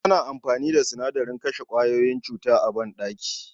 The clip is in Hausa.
Ana amfani da sinadarin kashe kwayoyin cuta a banɗaki